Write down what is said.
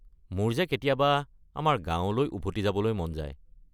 মোৰ যে কেতিয়াবা আমাৰ গাঁৱলৈ উভতি যাবলৈ মন যায়।